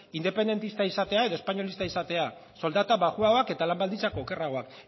independentista izatea edo espainolista izatea soldata baxuagoak eta lan baldintza okerragoak